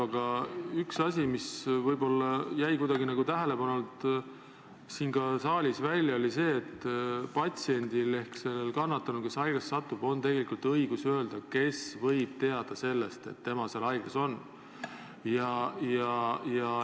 Aga üks asi, mis jäi siin saalis kuidagi tähelepanuta, oli see, et patsiendil ehk sellel kannatanul, kes haiglasse satub, on täielik õigus öelda, kes võib teada sellest, et tema seal haiglas on.